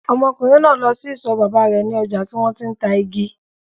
Ọmọkùnrin náà lọ sí isọ̀ bàbá rẹ̀ ní ọjà tí wọ́n ti ń ta igi.